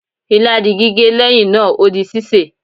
ila di gige, leyin naa, O di sise